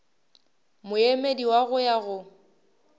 moemedi wa go ya go